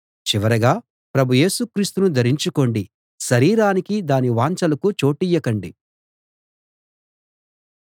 చివరగా ప్రభు యేసు క్రీస్తును ధరించుకోండి శరీరానికీ దాని వాంఛలకు చోటియ్యకండి